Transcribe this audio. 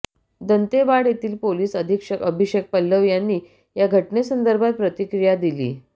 दंतेवाडा येथील पोलीस अधीक्षक अभिषेक पल्लव यांनी या घटनेसंदर्भात प्रतिक्रिया दिली